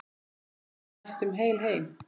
Komst næstum heil heim.